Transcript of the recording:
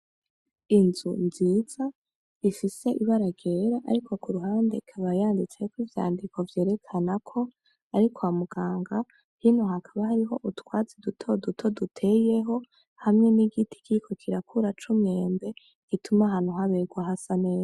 Inzu nziza ifise ibara ryera ariko kuruhande ikaba yanditseko ivyandiko vyerakana ko ari kwa muganga hino hakaba hariho utwatsi duto duto duteyeho hamwe n'igiti Kiriko kirakura cumwembe gituma ahantu habegwa hasa neza.